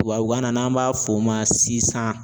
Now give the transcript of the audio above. Tubabukan na n'an b'a f'o ma sisan